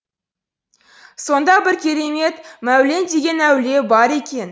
сонда бір керемет мәулен деген әулие бар екен